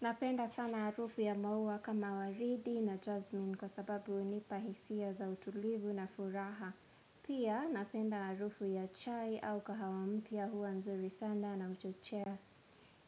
Napenda sana harufu ya maua kama waridi na jazmin kwa sababu hunipahisia za utulivu na furaha. Pia napenda harufu ya chai au kahawa mpya huwa mzuri sanda na uchochea